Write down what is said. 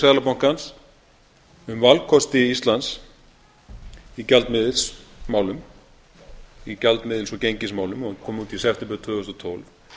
seðlabankans um valkosti íslands í gjaldmiðilsmálum í gjaldmiðils og gengismálum kom út í september tvö þúsund og tólf